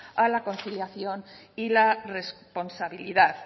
a la conciliación y la responsabilidad